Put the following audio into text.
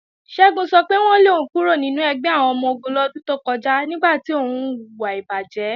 Ṣẹ́gun sọ pé wọ́n lé òun kúrò nínú ẹgbẹ́ àwọn ọmọ-ogun lọ́dún tó kọjá nígbà tí òun hùwà ìbàjé.